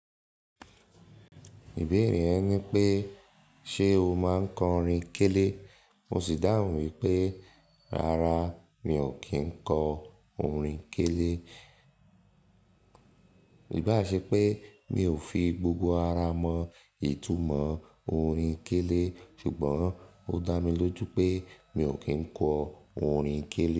Ìbere ẹ ní pé ṣe o máa ń kọ orin kélé? Mo sì dáhùn wípé rárá mi ò kí ń kọ orin kélé. Ìbá ṣe pé mi ò fi gbogbo ara mọ ìtumọ̀ orin kélé ṣùgbọ́n ó dá mi lójú pé mi ò kí ń kọ orin kélé.